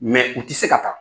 , u tɛ se ka taa